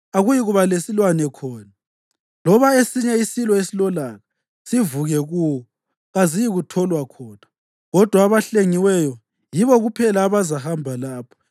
Akuyikuba lesilwane khona, loba esinye isilo esilolaka; sivuke kuwo kaziyikutholwa khona. Kodwa abahlengiweyo yibo kuphela abazahamba lapho,